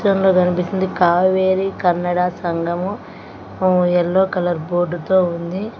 చిత్రంలో కనిపిస్తుంది కావేరీ కన్నడ సంఘము యెల్లో కలర్ బోర్డు తో ఉంది.